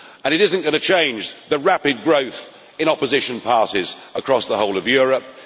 It is not going to change the rapid growth in opposition parties across the whole of Europe.